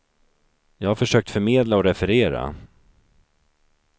Jag har försökt förmedla och referera.